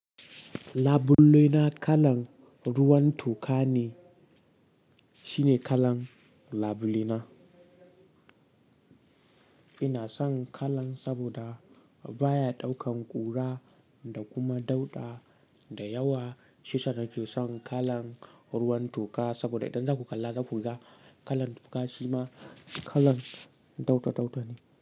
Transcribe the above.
Labule na kalan ruwan toka ne. Shine kalan labulina. Ina son kalan saboda baya ɗaukan ƙura da kuma ɗauda da yawa. Shi yasa nake son kalan ruwan toka saboda idan za ku kalla da kuka, kalan toka shima kalan ɗautatauta ne.